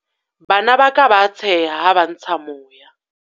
Bana ba ka ba a tsheha ha ba ntsha moya.